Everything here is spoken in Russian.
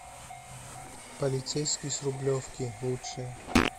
полицейский с рублевки лучшее